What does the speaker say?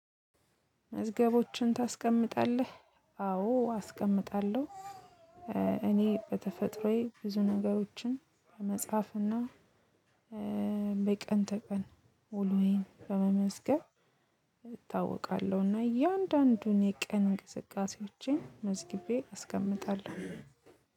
መዝገቦችን ታስቀምጣለህ? አዎ አስቀምጣለሁ። እኔ በተፈጥሮዬ ብዙ ነገሮችን በመጽሐፍ እና በቀን ተቀን ውሎዬን በመመዝገብ እታወቃለሁ እና እያንዳንዱን የቀን እንቅስቃሴዎቼን መዝግቤ አስቀምጣለሁ።